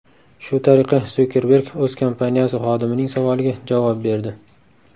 Shu tariqa Sukerberg o‘z kompaniyasi xodimining savoliga javob berdi.